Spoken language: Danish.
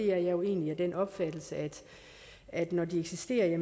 er jo egentlig af den opfattelse at når de eksisterer